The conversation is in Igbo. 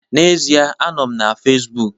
N'ezie m nọ na Facebook